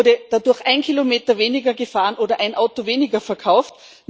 Wurde dadurch ein Kilometer weniger gefahren oder ein Auto weniger verkauft?